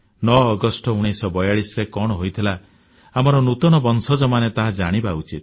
9 ଅଗଷ୍ଟ 1942ରେ କଣ ହୋଇଥିଲା ଆମର ନୂତନ ବଂଶଜମାନେ ତାହା ଜାଣିବା ଉଚିତ